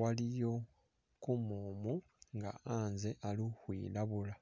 waliyo kumumu nga'atsye ali khukhwilabula